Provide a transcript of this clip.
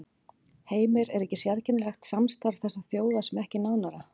Heimir: Er ekki sérkennilegt að samstarf þessara þjóða sé ekki nánara?